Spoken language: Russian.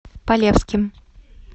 полевским